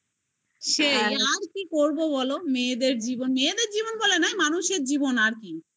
সেই কি করবো বলো মেয়েদের জীবন মেয়েদের জীবন বলে নয় মানুষের জীবন আর কি